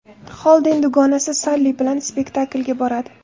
Xolden dugonasi Salli bilan spektaklga boradi.